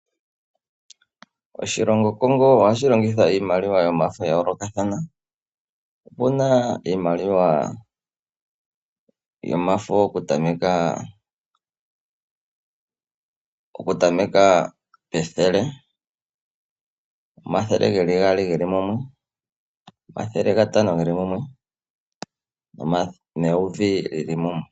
Oshilongo Congo ohashi longitha iimaliwa yasho yomafo ya yolokathana, opuna iimaliwa yimwe yomafo oku tameka 100, 200 geli mumwe, 500 geli mumwe, ne1000 lyili mumwe.